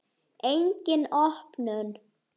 Engin opnun.